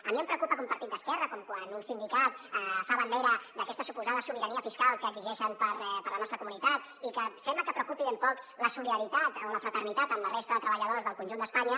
a mi em preocupa que un partit d’esquerra quan un sindicat fa bandera d’aques·ta suposada sobirania fiscal que exigeixen per a la nostra comunitat i que sembla que preocupi ben poc la solidaritat o la fraternitat amb la resta de treballadors del conjunt d’espanya